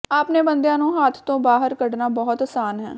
ਆਪਣੇ ਬੰਦਿਆਂ ਨੂੰ ਹੱਥ ਤੋਂ ਬਾਹਰ ਕੱਢਣਾ ਬਹੁਤ ਆਸਾਨ ਹੈ